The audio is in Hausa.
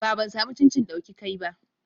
Ba, ban samu cincin dauki kai ba.